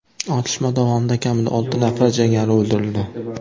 Otishma davomida kamida olti nafar jangari o‘ldirildi.